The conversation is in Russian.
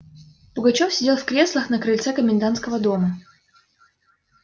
пугачёв сидел в креслах на крыльце комендантского дома